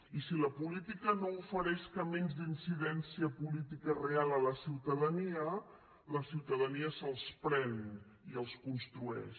i si la política no ofereix camins d’incidència política real a la ciutadania la ciutadania se’ls pren i els construeix